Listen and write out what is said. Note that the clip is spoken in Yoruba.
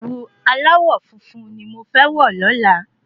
Ẹ̀wu aláwọ̀ funfun ni mo fẹ́ wọ̀ lọ́la